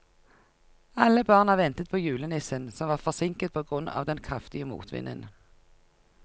Alle barna ventet på julenissen, som var forsinket på grunn av den kraftige motvinden.